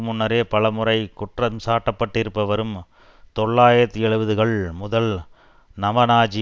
முன்னரே பலமுறை குற்றம் சாட்டப்பட்டிருப்பவரும் தொள்ளாயிரத்து எழுபதுகள் முதல் நவநாஜி